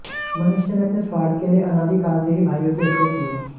मनुष्य ने अपने स्वार्थ के लिए अनादि काल से ही भाइयों की हत्या की है